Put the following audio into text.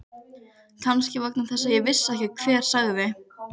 Kannski vegna þess að ég vissi ekki hver sagði.